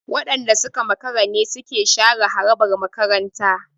Waɗanda suka makara ne suke share harabar makarantar.